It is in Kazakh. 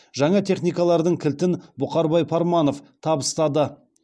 жаңа техникалардың кілтін бұқарбай парманов табыстады